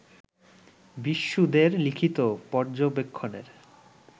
বিষ্ণু দে-র লিখিত পর্যবেক্ষণের